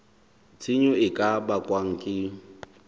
tshenyo e ka bakwang ke